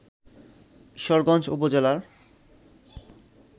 ঈশ্বরগঞ্জ উপজেলার